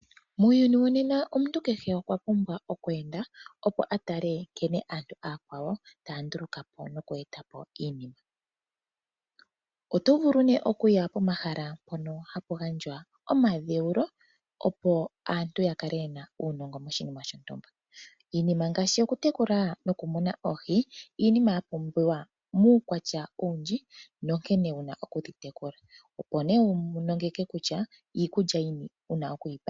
Muuyuni wonena omuntu kehe okwa pumbwa okweenda, opo a tale aantu oyakwawo nkene taya ndulukapo iinima. Oto vulu kuya pomahala mpono hapu gandjwa omadheulo, opo aantu yakale yena uunongo moshinima shontumba. Iinima ngaashi okutekula oohi Iinima yapumbiwa muukwatya owundji nankene wuna okudhi tekula. Opo wiilonge kutya iikulya yini wuna okudhipa.